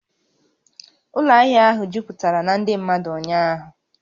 Ụlọ ahịa ahụ jupụtara na ndị mmadụ ụnyaahụ